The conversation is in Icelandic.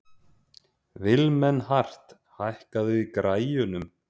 Vilmenhart, hækkaðu í græjunum.